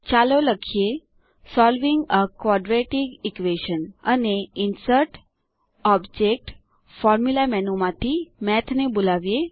ચાલો લખીએ solving a quadratic equation અને ઇન્સર્ટગટોબજેક્ટગ્ટફોર્મુલા મેનુ માંથી મેઠ ને બોલાવો